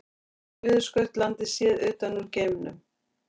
Suðurskautslandið séð utan úr geimnum.